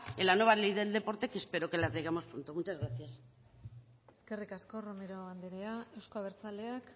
en la nueva ley del deporte que espero que la traigamos pronto muchas gracias eskerrik asko romero anderea euzko abertzaleak